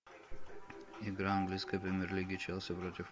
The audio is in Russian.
игра английской премьер лиги челси против